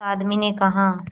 उस आदमी ने कहा